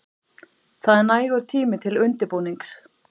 Það er nægur tími til undirbúnings.